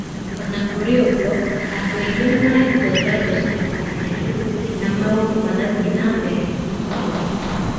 O na kũrĩ ũguo, andũ aingĩ nĩ mahetwo njanjo cia kũgitĩra, na maũndũ magĩthiĩ na mbere kũhorera.